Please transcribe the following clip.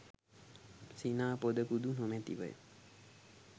සිනා පොදකුදු නොමැතිවය.